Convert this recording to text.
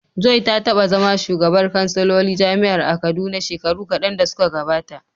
Joy ta taba zama shugabar kansilolin jami’ar a Kaduna shekaru kadan da suka gabata.